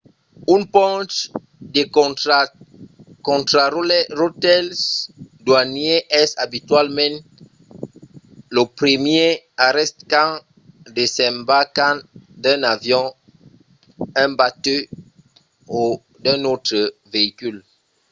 un ponch de contraròtle doanièr es abitualament lo primièr arrèst quand desembarcam d’un avion un batèu o d’un autre veicul